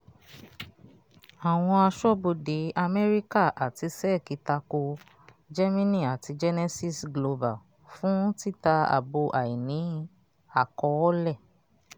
àwọn aṣọ́bodè amẹ́ríkà àti sec tako gemini àti genesis global fún títà àbọ̀ àìní-àkọ́ọ̀lẹ̀.